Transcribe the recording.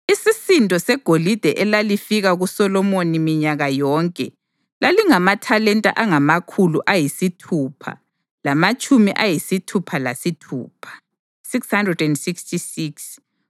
Isisindo segolide elalifika kuSolomoni minyaka yonke lalingamathalenta angamakhulu ayisithupha lamatshumi ayisithupha lasithupha (666),